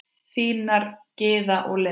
Þínar Gyða og Linda.